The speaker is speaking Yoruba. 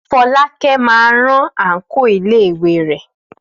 Fọlákẹ́ máa rán àǹkóò iléèwé rẹ̀.